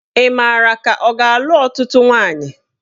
Ị mara ka ọ ga-alụ ọtụtụ nwaanyị?